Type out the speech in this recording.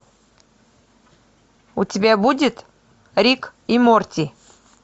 у тебя будет рик и морти